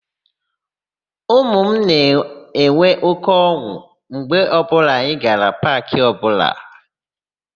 Ụmụ m na-enwe óké ọn̄ụ mgbe ọbụla anyị gara paakị ọbụla.